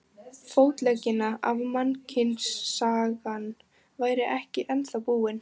Fótleggina ef mannkynssagan væri ekki ennþá búin.